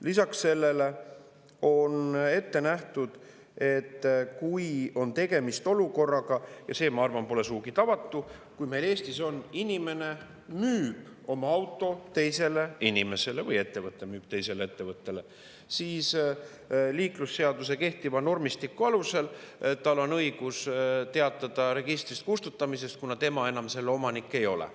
Lisaks sellele on ette nähtud, et kui on tegemist olukorraga – ja see, ma arvan, pole sugugi tavatu –, kui Eestis inimene müüb oma auto teisele inimesele või ettevõte müüb teisele ettevõttele, siis liiklusseaduse kehtiva normistiku alusel tal on õigus teatada registrist kustutamisest, kuna tema enam selle omanik ei ole.